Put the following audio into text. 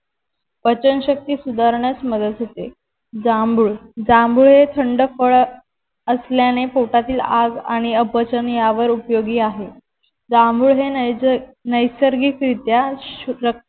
पचनशक्ती सुधारण्यास मदत होते जांभूळ जांभूळ हे थंड फळ असल्याने पोटातील आग आणि अपचन यावर उपयोगी आहे जांभूळ हे नैसर्गिकरित्या